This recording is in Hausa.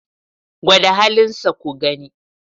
Gwada halinsa ku gani.